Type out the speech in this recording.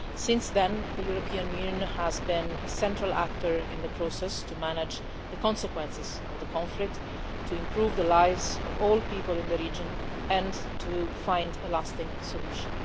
Since then, the European Union has been a central actor in the process to manage the consequences of the conflict, to improve the lives of all people in the region and to find a lasting solution.